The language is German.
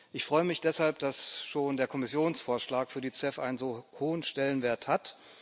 Ich freue mich deshalb, dass schon der Kommissionsvorschlag für die CEF einen so hohen Stellenwert hat.